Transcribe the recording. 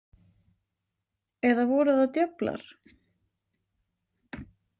Eða voru það djöflar?